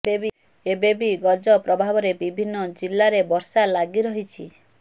ଏବେ ବି ଗଜ ପ୍ରଭାବରେ ବିଭିନ୍ନ ଜିଲ୍ଲାରେ ବର୍ଷା ଲାଗି ରହିଛି